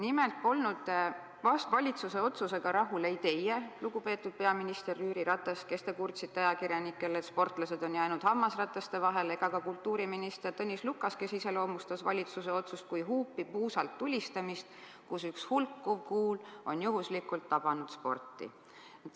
Nimelt polnud valitsuse otsusega rahul ei teie, lugupeetud peaminister Jüri Ratas, kes te kurtsite ajakirjanikele, et sportlased on jäänud hammasrataste vahele, ega ka kultuuriminister Tõnis Lukas, kes iseloomustas valitsuse otsust kui huupi puusalt tulistamist, kus üks hulkuv kuul on juhuslikult tabanud sporti.